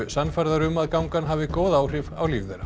sannfærðar um að gangan hafi góð áhrif á líf þeirra